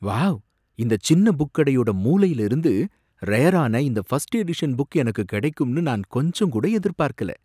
Wow! இந்த சின்ன book கடையோட மூலைல இருந்து ரேரான இந்த ஃபஸ்ட் எடிஷன் புக் எனக்கு கடைக்கும்னு நான் கொஞ்சங்கூட எதிர்பார்க்கல.